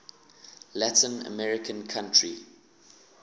latin american country